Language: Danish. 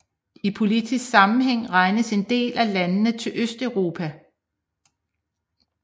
I politisk sammenhæng regnes en del af landene til Østeuropa